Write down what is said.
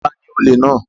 Ta ni olè náà?